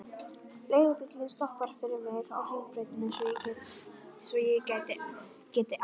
Leigubíllinn stoppar fyrir mig á Hringbrautinni svo ég geti ælt.